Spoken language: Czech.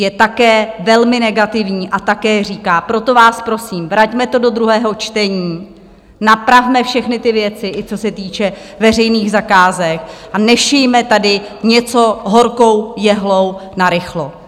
Je také velmi negativní a také říká - proto vás prosím, vraťme to do druhého čtení, napravme všechny ty věci, i co se týče veřejných zakázek, a nešijme tady něco horkou jehlou narychlo.